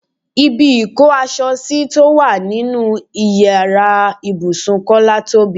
Ibi ìkó aṣọ sí tó wà nínú ìyára ibùsùn Kọ́lá tóbi.